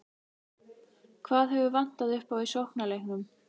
Hvað hefur vantað upp á í sóknarleiknum?